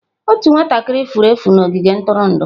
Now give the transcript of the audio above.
Otu nwatakịrị furu efu n'ogige ntụrụndụ.